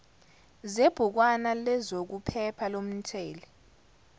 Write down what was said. zebhukwana lezokuphepha lomthumeli